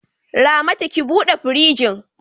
Ramatu, ki bude firjin!